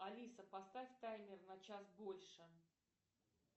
алиса поставь таймер на час больше